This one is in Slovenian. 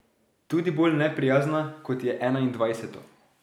Tudi bolj neprijazna, kot je enaindvajseto.